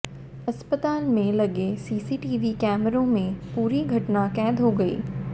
अस्पताल में लगे सीसीटीवी कैमरों में पूरी घटना कैद हो गई